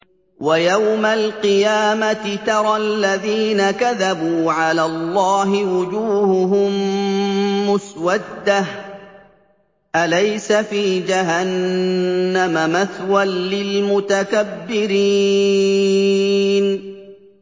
وَيَوْمَ الْقِيَامَةِ تَرَى الَّذِينَ كَذَبُوا عَلَى اللَّهِ وُجُوهُهُم مُّسْوَدَّةٌ ۚ أَلَيْسَ فِي جَهَنَّمَ مَثْوًى لِّلْمُتَكَبِّرِينَ